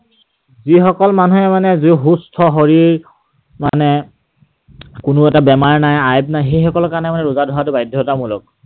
যিসকল মানুহে মানে সুস্থ শৰীৰ, মানে কোনো এটা বেমাৰ নাই, আয়াত নাই, সেইসকলৰ কাৰণে মানে ৰোজা ধৰাটো বাধ্যতা মূলক।